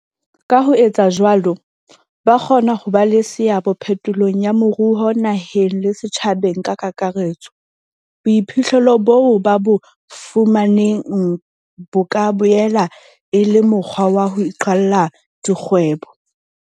Ka ho etsa jwalo, ba kgona ho ba le seabo phetolong ya moruo naheng le setjhabeng ka kakaretso. Boiphihlelo boo ba bo fumaneng bo ka boela e le mokgwa wa ho iqalla dikgwebo.